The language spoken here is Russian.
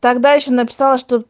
тогда ещё написала что